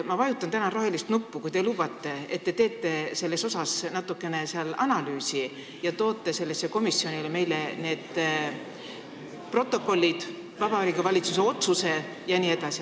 Ma vajutan täna rohelist nuppu, kui te lubate, et te teete selle kohta natuke analüüsi ja toote meile komisjoni need protokollid, Vabariigi Valitsuse otsuse jne.